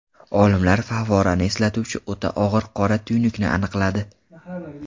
Olimlar favvorani eslatuvchi o‘ta og‘ir qora tuynukni aniqladi.